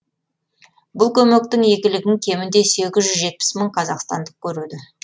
бұл көмектің игілігін кемінде сегіз жүз жетпіс мың қазақстандық көреді